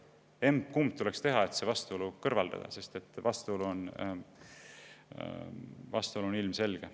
Emba-kumba tuleks teha, et see vastuolu kõrvaldada, sest vastuolu on ilmselge.